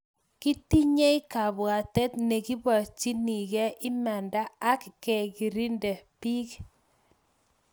kitinyei kabwatet ne kiborchinigei imanda ak kerkeindo rng biik